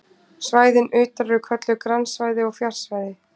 svæðin utar eru kölluð grannsvæði og fjarsvæði